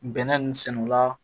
Bɛnɛ nin sɛnɛla